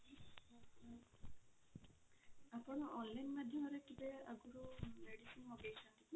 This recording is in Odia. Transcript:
ଆପଣ online ମାଧ୍ୟମରେ କେବେ ଆଗରୁ medicine ମଗେଇଛନ୍ତି କି?